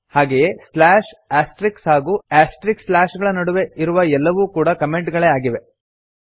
ಹಾಗೆಯೇ slash asterisks ಹಾಗೂ asterisks slash ಗಳ ನಡುವೆ ಇರುವ ಎಲ್ಲವೂ ಕೂಡಾ ಕಮೆಂಟ್ ಗಳೆ ಆಗಿವೆ